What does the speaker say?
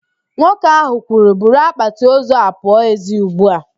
Nwoke ahụ kwuru, buru akpatị ozu ahụ pụọ ezi ugbu a!